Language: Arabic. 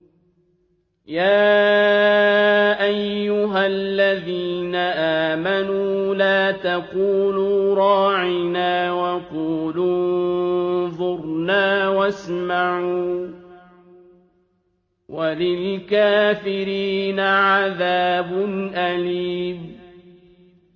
يَا أَيُّهَا الَّذِينَ آمَنُوا لَا تَقُولُوا رَاعِنَا وَقُولُوا انظُرْنَا وَاسْمَعُوا ۗ وَلِلْكَافِرِينَ عَذَابٌ أَلِيمٌ